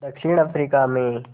दक्षिण अफ्रीका में